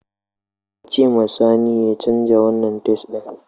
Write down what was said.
Ka ce ma sani ya canza wanan tais ɗin!